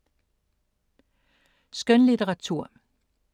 Skønlitteratur